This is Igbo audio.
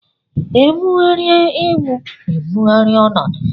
E bugharịa egwu e bugharịa ọnọdụ.